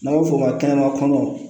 N'a bɛ f'o ma kɛnɛma kɔnɔn